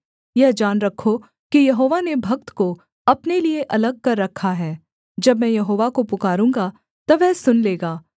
यह जान रखो कि यहोवा ने भक्त को अपने लिये अलग कर रखा है जब मैं यहोवा को पुकारूँगा तब वह सुन लेगा